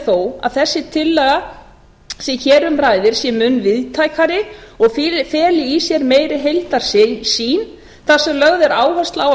þó að þessi tillaga sem hér um ræðir sé mun víðtækari og feli í sér meiri heildarsýn þar sem lögð er áhersla á að